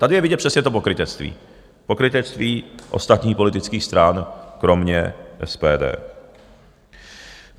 Tady je vidět přesně to pokrytectví, pokrytectví ostatních politických stran kromě SPD.